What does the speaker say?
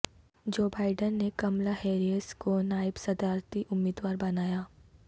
Joe Biden نے Kamala Harris کو نائب صدارتی امیدوار بنایا